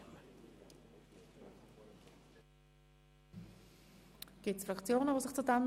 Möchten sich noch Fraktionen dazu äussern?